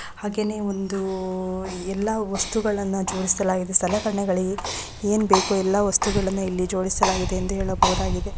ಹಾಗೇನೇ ಒಂದು ಎಲ್ಲಾ ವಸ್ತುಗಳನ್ನ ಜೋಡಿಸಲಾಗಿದೆ ಸಲಕರಣೆಗಳಿಗೆ ಎನ್ ಬೇಕೊ ಎಲ್ಲಾ ವಸ್ತುಗಳನ್ನ ಇಲ್ಲಿ ಜೋಡಿಸಲಾಗಿದೆ ಎಂದು ಹೇಳಬಹದಾಗಿದೆ .